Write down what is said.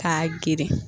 K'a geren